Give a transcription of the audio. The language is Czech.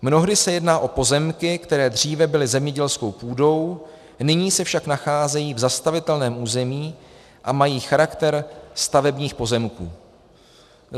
Mnohdy se jedná o pozemky, které dříve byly zemědělskou půdou, nyní se však nacházejí v zastavitelném území a mají charakter stavebních pozemků.